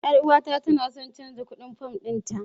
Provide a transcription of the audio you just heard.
Yar uwata tana so ta canza kuɗin fam ɗinta.